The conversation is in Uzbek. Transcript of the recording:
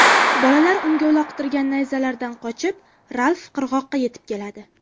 Bolalar unga uloqtirgan nayzalaridan qochib, Ralf qirg‘oqqa yetib keladi.